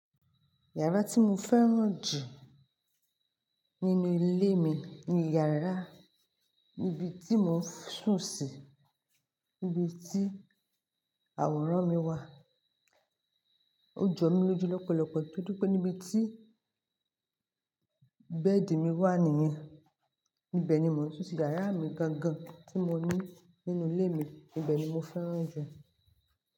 Yàrá tí mo fẹ́ràn jù nínú ilé mi ni yàrá, níbi tí mò ń sùn sí, níbi tí àwòrán mi wà. Ó jọ mí lójú lọ́pọ̀lọpọ̀ nítorí pé níbi tí bẹ́ẹ̀dì mi wà nìyẹn. Ibẹ̀ ni mò ń sùn sí yàrá mi gan gan tí mo ní nínú ilé mi. Ibẹ̀ ni mo fẹ́ràn jù.